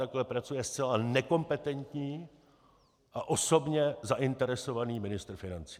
Takhle pracuje zcela nekompetentní a osobně zainteresovaný ministr financí.